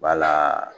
Wala